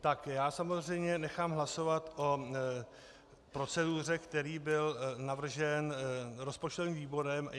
Tak já samozřejmě nechám hlasovat o proceduře, která byla navržena rozpočtovým výborem.